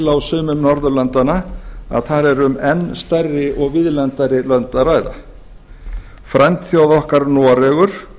á sumum norðurlandanna að þar er um enn stærri og víðlendari lönd að ræða frændþjóð okkar noregur